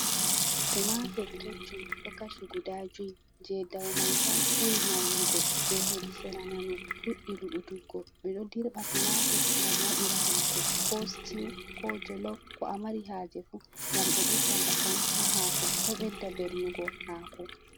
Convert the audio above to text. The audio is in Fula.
Tumatur keccum ɗo kaci guda juy, je dau mai sam ɓuri maunugo, je hedi sera nano fuɗɗi luɓutuggo, ɓe ɗo dirɓa tumatur ngam waɗira haako, ko stew, ko jollof, ko amari haaje fu, gam ɗo ɓedda ndakam ha haako, ɗo ɓedda bellugo haako.